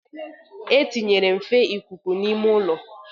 E tinyere nfe ikuku n'ime ụlọ.